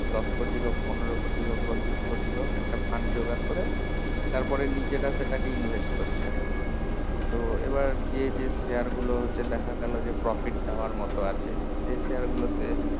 দশ কোটি বা পনেরো কোটি হোক বা বিষ কোটি একটা fund জোগাড় করে তারপরে নিজেরা সেটা কে invest করছে আর কি তো এবার যে যে share গুলো হচ্ছে দেখা গেলো যে profit দেওয়ার মতো আছে সেই share গুলো তে